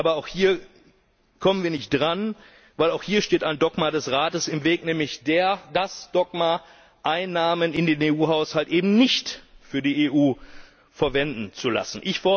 Aber auch hier kommen wir nicht dran, denn auch hier steht ein Dogma des Rates im Weg, nämlich das Dogma, Einnahmen in den EU Haushalt eben nicht für die EU verwenden zu lassen.